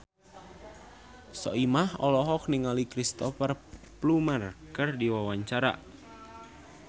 Soimah olohok ningali Cristhoper Plumer keur diwawancara